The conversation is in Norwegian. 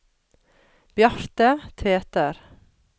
Bjarte Tveter